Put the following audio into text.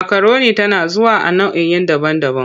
Makaroni tana zuwa a nau'i daban-daban.